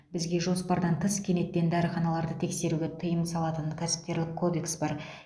бізге жоспардан тыс кенеттен дәріханаларды тексеруге тыйым салатын кәсіпкерлік кодекс бар